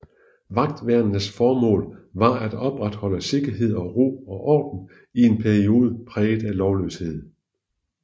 Vagtværnenes formål var at opretholde sikkerhed og ro og orden i en periode præget af lovløshed